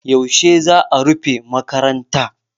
Yaushe za a rufe makaranta?